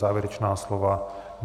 Závěrečná slova?